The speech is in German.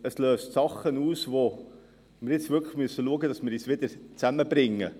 Es löst Dinge aus, sodass wir jetzt wirklich schauen müssen, dass wir uns wieder zusammenbringen.